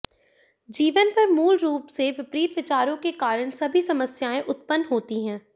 जीवन पर मूल रूप से विपरीत विचारों के कारण सभी समस्याएं उत्पन्न होती हैं